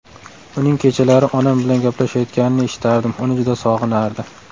Uning kechalari onam bilan gaplashayotganini eshitardim, uni juda sog‘inardi.